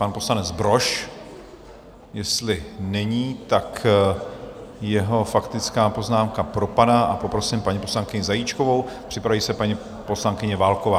Pan poslanec Brož jestli není, tak jeho faktická poznámka propadá, a poprosím paní poslankyni Zajíčkovou, připraví se paní poslankyně Válková.